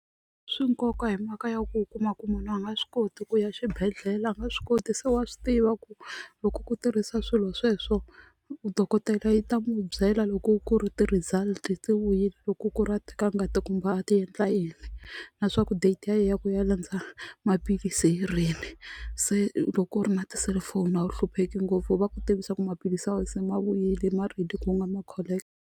Swi nkoka hi mhaka ya ku u kuma ku munhu a nga swi koti ku ya xibedhlele a nga swi koti se wa swi tiva ku loko ku tirhisa swilo sweswo dokodela yi ta n'wi byela loko ku ri ti-result ti vuyile loko ku ri a teka kumbe a ti endla yini na swaku date ya yena ya ku ya landza maphilisi hi rini se loko ku ri na tiselifoni a wu hlupheki ngopfu va ku tivisa ku maphilisi ya wena se ma vuyile ma ready ku nga ma collect.